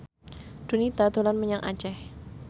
Donita dolan menyang Aceh